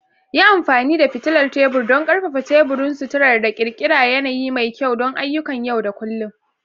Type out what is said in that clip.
Yi amfani da fitilar tebur don ƙarfafa teburin sutura da ƙirƙirar yanayi mai kyau don ayyukan yau da kullun.